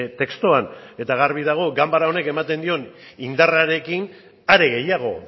testuan eta garbi dago ganbara honek ematen dion indarrarekin are gehiago